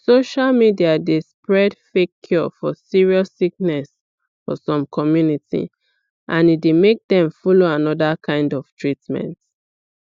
social media dey spread fake cure for serious sickness for some communities and e dey make dem follow another kind of treatment